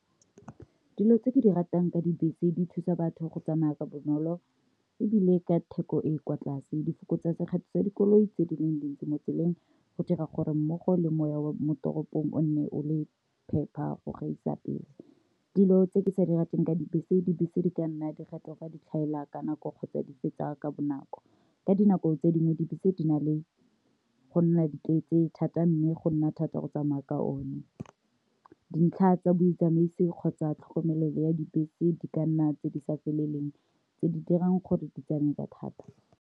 Dilo tse ke di ratang ka dibese di thusa batho go tsamaya ka bonolo ebile ka theko e e kwa tlase di fokotsa sekgetho tsa dikoloi tse di le dintsi mo tseleng go dira gore mmogo lengwa mo toropong o nne o le phepa go gaisa pele. Dilo tse ke sa di rateng ka dibese, dibese di ka nna di fetoga di tlhaela ka nako kgotsa di feta ka bonako, ka dinako tse dingwe dibese di na le go nna di tletse thata, mme go nna thata go tsamaya ka one, dintlha tsa botsamaisi kgotsa tlhokomelelo ya dibese di ka nna tse di sa feleleng tse di dirang gore ditsamaye ka thata.